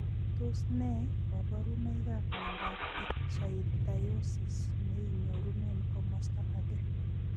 Tos ne kaborunoikap miondop ichthyosis, neinyorune komasta age.